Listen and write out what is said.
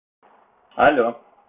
алло